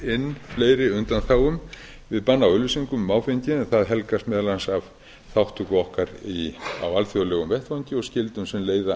fleiri undanþágum við banni á auglýsingum um áfengi en það helgast meðal annars af þátttöku okkar á alþjóðlegum vettvangi og skyldum sem leiða